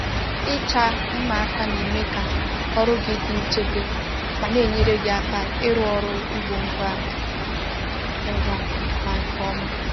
Ịcha mma aka na-eme ka ọrụ gị dị nchebe ma na-enyere gị aka ịrụ ọrụ ugbo ngwa ngwa ma nke ọma